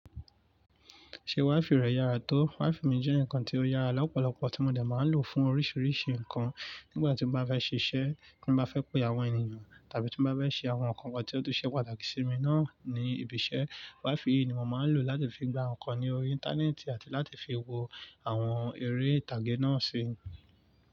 Ṣé WiFi rẹ yára tó? WiFi mi jẹ́ nǹkan tí ó yára lọ́pọ̀lọpọ̀, tí mo de máa ń lò fún oríṣiríṣi nǹkan nígbà tí mo bá fẹ́ ṣiṣẹ́, tí mo bá fẹ́ pè àwọn ènìyàn tàbí tí mo bá fẹ́ ṣe àwọn nǹkan kan tí ó tun ṣe pàtàkì sí mi náà ní ibi iṣẹ́. WiFi yìí ni mo máa ń lò láti fi gba nǹkan ní orí Íńtánẹ́ẹ̀tì àti láti fi wo àwọn eré ìtàgé náà síi.